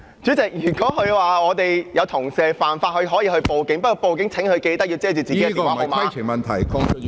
主席，如果他說有同事犯法，他可以報警，不過屆時請他記緊要遮蓋自己的電話號碼。